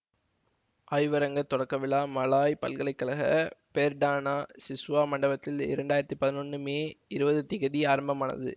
ஆய்வரங்கத் தொடக்க விழா மலாயா பல்கலை கழக பெர்டானா சிஸ்வா மண்டபத்தில் இரண்டு ஆயிரத்தி பதினொன்று மே இருபது திகதி ஆரம்பமானது